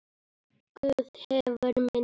Guð hefur minni.